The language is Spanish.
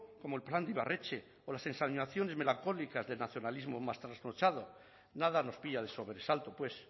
como el plan de ibarretxe o las ensoñaciones melancólicas del nacionalismo más trasnochado nada nos pilla de sobresalto pues